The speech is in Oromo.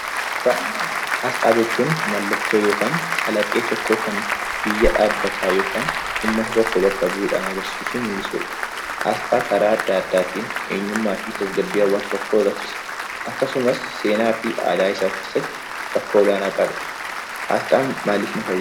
Asxaa jechuun mallattoo yookaan calaqqee tokkoo kan biyya dhaabbataa yookiin uummata biyya tokkoo bakka bu'udha. Asxaa karaa adda addaatiin eenyummaa fi dambii hawaasa tokkoo agarsiisa. Akkasumas seenaa fi aadaa isaa keessatti bakka olaanaa qaba. Asxaan maaliif nu fayyada?